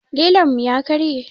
Lilon mu ya karye